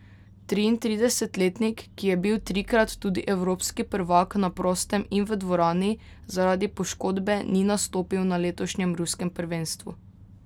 Triintridesetletnik, ki je bil trikrat tudi evropski prvak na prostem in v dvorani, zaradi poškodbe ni nastopil na letošnjem ruskem prvenstvu.